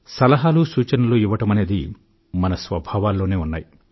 సలహాలు సూచనలు ఇవ్వడమనేది మన స్వభావాల్లోనే ఉన్నాయి